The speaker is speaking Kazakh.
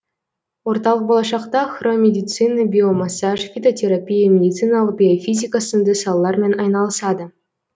орталық болашақта хромедицина биомассаж фитотерапия медициналық биофизика сынды салалармен айналысады